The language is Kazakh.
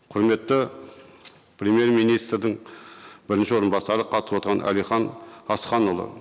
құрметті премьер министрдің бірінші орынбасары қатысып отырған әлихан асқанұлы